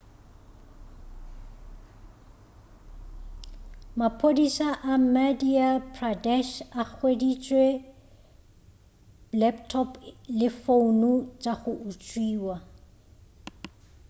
maphodisa a madhya pradesh a hweditše laptop le founo tša go utswiwa